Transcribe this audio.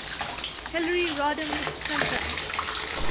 hillary rodham clinton